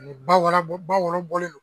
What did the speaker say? ba wɔɔrɔ bɔ ba wolo bɔlen don